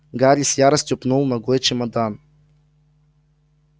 гарри с яростью пнул ногой чемодан